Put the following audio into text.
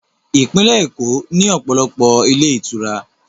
Ìpínlẹ̀ Èkó ní ọ̀pọ̀lọpọ̀ ilé ìtura